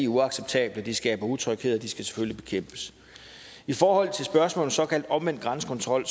uacceptable de skaber utryghed og de skal selvfølgelig bekæmpes i forhold til spørgsmålet om såkaldt omvendt grænsekontrol